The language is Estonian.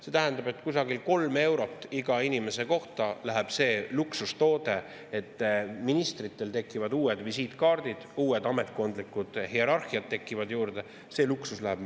See tähendab, et kusagil 3 eurot iga inimese kohta läheb see luksustoode, et ministritel tekivad uued visiitkaardid, uued ametkondlikud hierarhiad, maksma.